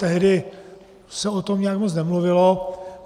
Tehdy se o tom nějak moc nemluvilo.